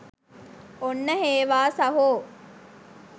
ඔන්න හේවා සහෝ